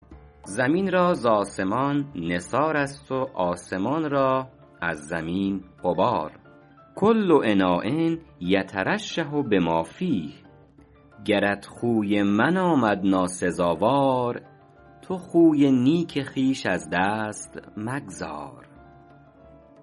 زمین را ز آسمان نثار است و آسمان را از زمین غبار کل اناء یترشح بما فیه گرت خوی من آمد ناسزاوار تو خوی نیک خویش از دست مگذار